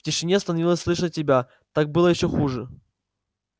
в тишине становилось слышно себя так было ещё хуже